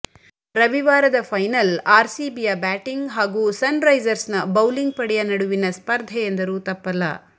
ರವಿವಾರದ final ಆರ್ಸಿಬಿಯ batting ಹಾಗೂ ಸನ್ರೈಸರ್ಸ್ನ ಬೌಲಿಂಗ್ ಪಡೆಯ ನಡುವಿನ ಸ್ಪರ್ಧೆ ಎಂದರೂ ತಪ್ಪಲ್ಲ